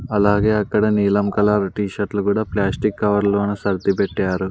అలాగే అక్కడ నీలం కలర్ టీ షర్ట్లు కూడా ప్లాస్టిక్ కవర్లోన సర్టిపెట్టారు.